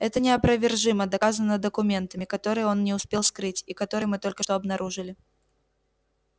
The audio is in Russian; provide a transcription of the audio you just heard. это неопровержимо доказано документами которые он не успел скрыть и которые мы только что обнаружили